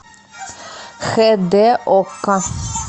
хд окко